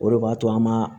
O de b'a to an b'a